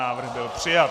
Návrh byl přijat.